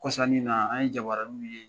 Kɔsa nin in na an ye jabaraniw ye.